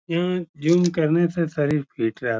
यहाँ जिम करने से शरीर फिट रहता --